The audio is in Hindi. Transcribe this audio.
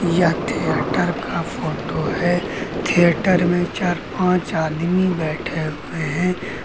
यह थिएटर का फोटो है थिएटर में चार पांच आदमी बैठे हुए हैं।